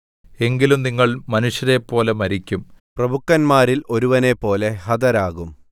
എങ്കിലും നിങ്ങൾ മനുഷ്യരെപ്പോലെ മരിക്കും പ്രഭുക്കന്മാരിൽ ഒരുവനെപ്പോലെ ഹതരാകും